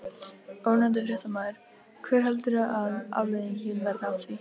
Ónefndur fréttamaður: Hver heldurðu að afleiðingin verði af því?